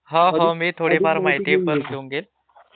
हा हा मी थोडीफार माहिती घेऊन घेईल